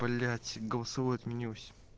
блять голосовой отменился